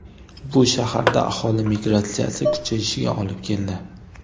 Bu shaharda aholi migratsiyasi kuchayishiga olib keldi.